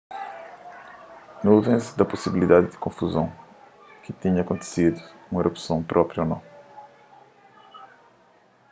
nuvens da pusibiliadi di konfuzon si tinha kontisidu un erupson propi ô nou